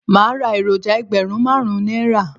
Màá ra èròjà ẹgbẹ̀rún máàrún Náírà